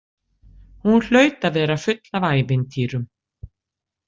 Hún hlaut að vera full af ævintýrum.